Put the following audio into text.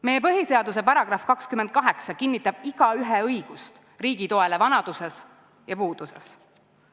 Meie põhiseaduse § 28 kinnitab igaühe õigust riigi toele vanaduses ja puuduses.